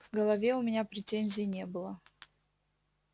в голове у меня претензий не было